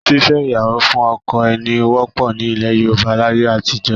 Fífẹ́ ìyàwó fún ọkọ ẹni wọ́pọ̀ ní ilẹ̀ Yorùbá láyé àtijọ́